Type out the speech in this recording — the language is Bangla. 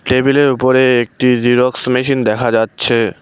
টেবিলের উপরে একটি জেরক্স মেশিন দেখা যাচ্ছে।